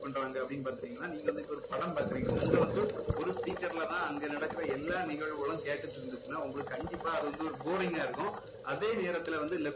பண்றாங்க அப்படின்னு பாத்துக்கிட்டீங்கன்னா நீங்க வந்து இப்போ ஒரு படம் பாக்கறீங்க அங்க வந்து ஒரு speaker ல தான் அங்க நடக்குற எல்லாம் நிகழ்வுகளும் கேட்டுட்டு இருந்துச்சுன்னா உங்களுக்கு கண்டிப்பா அது வந்து boring ஆ இருக்கும் அதே நேரத்துல வந்து